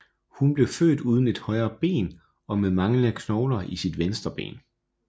Hun blev født uden et højre ben og med manglende knogler i sit venstre ben